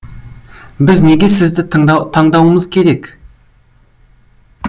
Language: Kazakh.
біз неге сізді таңдауымыз керек